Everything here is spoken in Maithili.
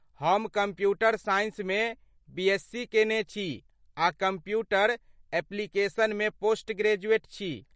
हम कम्प्यूटर साइंसमे बीएस. सी. केने छी आ कम्प्यूटर ऍप्लिकेशन्समे पोस्ट ग्रेजुएट छी।